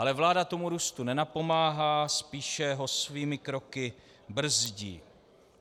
Ale vláda tomu růstu nenapomáhá, spíše ho svými kroky brzdí.